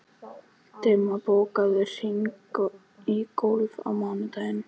Dimma, bókaðu hring í golf á mánudaginn.